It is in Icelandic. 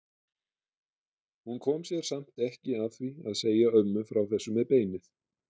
Hún kom sér samt ekki að því að segja ömmu frá þessu með beinið.